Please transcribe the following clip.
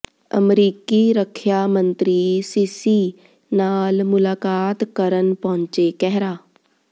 ਅਮਰੀਕੀ ਰੱਖਿਆ ਮੰਤਰੀ ਸਿਸੀ ਨਾਲ ਮੁਲਾਕਾਤ ਕਰਨ ਪਹੁੰਚੇ ਕਹਿਰਾ